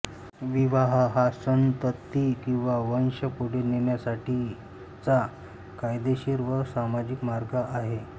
विवाह हा संतती किवा वंश पुढे नेण्यासाठीचा कायदेशीर व सामाजिक मार्ग आहे